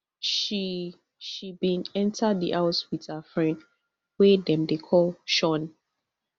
she she bin enta di house wit her friend wey dem dey call shaun